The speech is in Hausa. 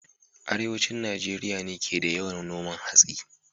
Arewacin Najeriya ne ke da yawan noman hatsi